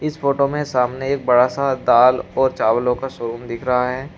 इस फोटो में सामने एक बड़ा सा दाल और चावलो का शोरूम दिख रहा है।